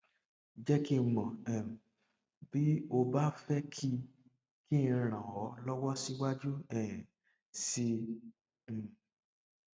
jẹ kí n mọ um bí o bá fẹ kí kí n ràn ọ lọwọ síwájú um sí i um